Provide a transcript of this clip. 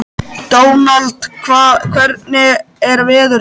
Dónald, hvernig er veðurspáin?